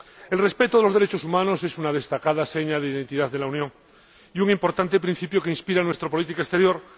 El respeto de los derechos humanos es una destacada seña de identidad de la Unión y un importante principio que inspira nuestra política exterior.